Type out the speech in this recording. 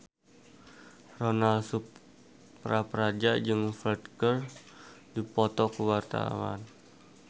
Ronal Surapradja jeung Ferdge keur dipoto ku wartawan